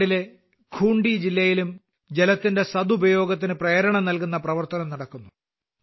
ജാർഖണ്ഡിലെ ഖൂൺട്ടി ജില്ലയിലും ജലത്തിന്റെ സദുപയോഗത്തിന് പ്രേരണ നൽകുന്ന പ്രവർത്തനം നടക്കുന്നു